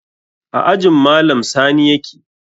A ajin malam sani yake